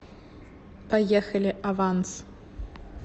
поехали аванс